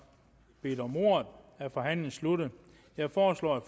bedt om ordet er forhandlingen sluttet jeg foreslår at